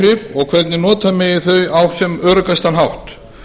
váhrif og hvernig nota megi þau á sem öruggastan hátt